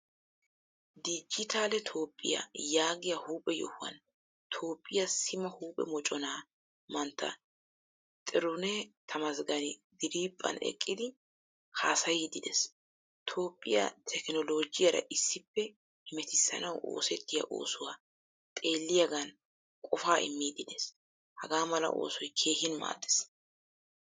Digitale toophphiyaa yaagiyaa huuphphee yohuwaan toophphiyaa sima huuphphee moccona mantta tiruneh tamasgaani diriphphan eqqidi haasayidi de'ees. Toophphiyaa tekinolojiyaara issippe hemettisanawu oosettiyaa oosuwaa xeeliyagan qofa immidi de'ees. Hagaamala oosoy keehin maaddees.